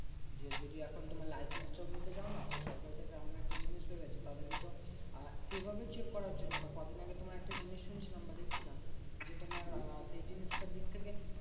যে যদি এখন তোমার licence টাও নিতে যাও না? সরকারের থেকে এমন একটা জিনিস হয়ে গেছে। তাদের কে তো আর সেইভাবে check করার জন্য না। কদিন আগে তোমার একটা জিনিস শুনছিলাম বা দেখছিলাম যে, তোমার আহ সেই জিনিসটার দিক থেকে